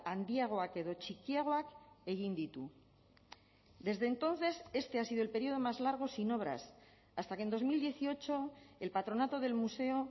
handiagoak edo txikiagoak egin ditu desde entonces este ha sido el período más largo sin obras hasta que en dos mil dieciocho el patronato del museo